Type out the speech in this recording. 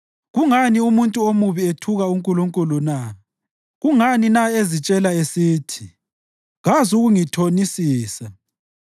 Kungani umuntu omubi ethuka uNkulunkulu na? Kungani na ezitshela esithi, “Kazukungithonisisa?”